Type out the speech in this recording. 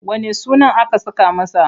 Wanne sunan aka saka masa?